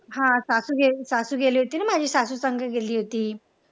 हा सासू सासू गेली होती ना माझी सासू संग गेली होती.